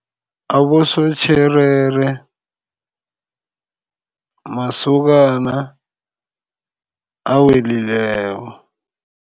Abosotjherere masokana awelileko.